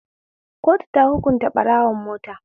Kotu ta hukunta ɓarawon mota.